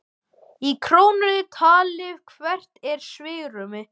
Lóa: Í krónum talið, hvert er svigrúmið?